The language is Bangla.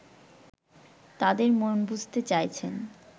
তাদের মন বুঝতে চাইছেন